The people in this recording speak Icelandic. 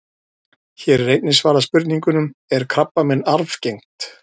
Hér er einnig svarað spurningunum: Er krabbamein arfgengt?